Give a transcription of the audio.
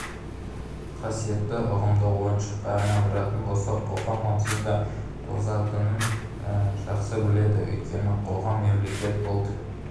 қасиетті ұғымды ойыншыққа айналдыратын болса қоғам онсыз да тозатынын жақсы біледі өйткені қоғам мемлекет ұлт